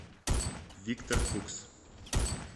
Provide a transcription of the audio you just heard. виктор фукс